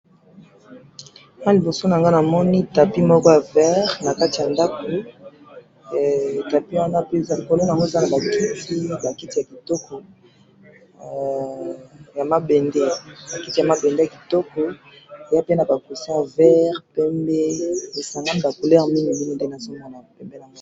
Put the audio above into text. awa liboso nangayi namoni tapi moko ya vert nakati ya ndaku heee tapi wana eza naba kiti ba kiti ya kitoko ya mabende ya mabende ya kitoko eza pe naba cousin ya vert ,pembe esangam=ni ba couleur mingi nde nazomona yango.